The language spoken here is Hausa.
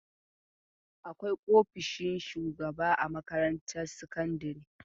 Akwai ofishin shugaba a makarantar sakandare.